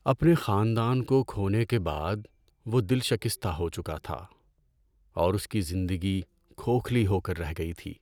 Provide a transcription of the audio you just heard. اپنے خاندان کو کھونے کے بعد وہ دل شکستہ ہو چکا تھا اور اس کی زندگی کھوکھلی ہو کر رہ گئی تھی۔